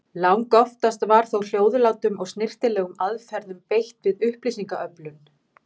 Langoftast var þó hljóðlátum og snyrtilegum aðferðum beitt við upplýsingaöflun.